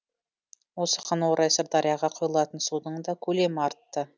осыған орай сырдарияға құйылатын судың да көлемі артты